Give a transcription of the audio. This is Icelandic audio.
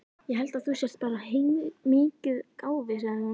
Ég held þú sért bara heilmikið gáfuð, sagði hún.